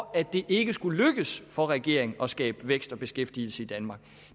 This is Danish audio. at det ikke skulle lykkes for regeringen at skabe vækst og beskæftigelse i danmark